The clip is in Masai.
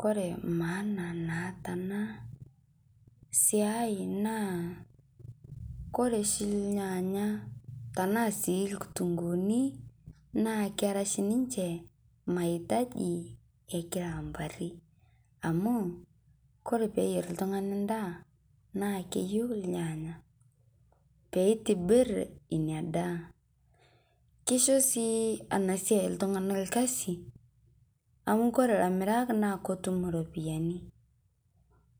Kore maana naata ana siai naa kore shii ilnyanya tana sii lkutunguni naa kera shi ninchee mahitaji ekila mpaari amu kore pee iyeer ltung'ani ndaa naa keiyeu ilnyanya pee itibiir enia ndaa. Keishoo sii ana siai ltung'ana lkasi amu kore laimiraak naa kotuum ropiani.